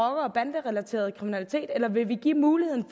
banderelateret kriminalitet eller vil vi give muligheden